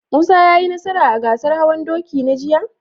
Musa ya yi nasara a gasar hawan doki na jiya?